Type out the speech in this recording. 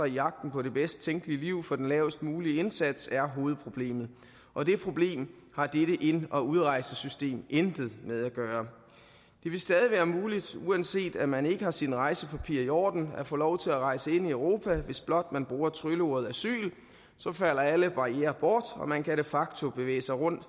i jagten på det bedst tænkelige liv for den lavest mulige indsats er hovedproblemet og det problem har dette ind og udrejsesystem intet med at gøre det vil stadig være muligt uanset at man ikke har sine rejsepapirer i orden at få lov til at rejse ind i europa hvis blot man bruger trylleordet asyl så falder alle barrierer bort og man kan de facto bevæge sig rundt